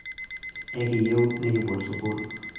ekiyieu nekibol sukuul